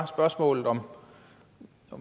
spørgsmålet om